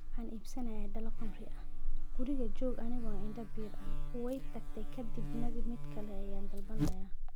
" Waxaan iibsan lahaa dhalo khamri ah, guriga joog anigoo indho bir ah, way tagtay - ka dibna mid kale ayaan dalbanayaa.